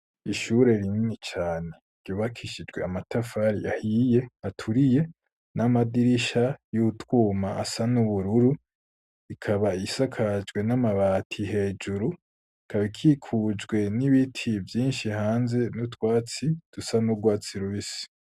Ishure rinini cane ryubakishijwe amatafari ahiye aturiye, n'amadirisha y'utwuma asa n'ubururu, ikaba isakajwe n'amabati hejuru, ikaba ikikujwe hejuru n'ibiti vyinshi hanze, n'utwatsi dusa n'urwatsi rubisi.